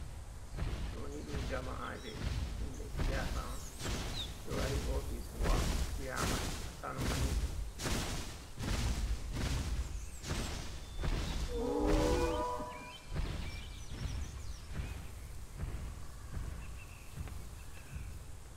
Do ni ɗum jama'aje himɓe siyasa on, ɓe wari office gowa chairman ha kano manisip.